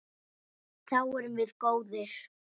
Þá erum við góðir.